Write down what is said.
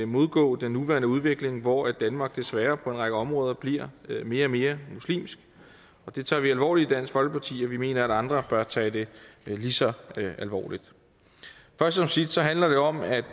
modgå den nuværende udvikling hvor danmark desværre på en række områder bliver mere og mere muslimsk det tager vi alvorligt i dansk folkeparti og vi mener at andre bør tage det lige så alvorligt først som sidst handler det om at